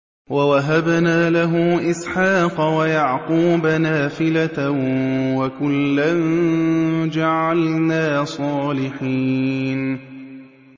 وَوَهَبْنَا لَهُ إِسْحَاقَ وَيَعْقُوبَ نَافِلَةً ۖ وَكُلًّا جَعَلْنَا صَالِحِينَ